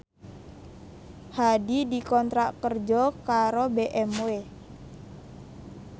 Hadi dikontrak kerja karo BMW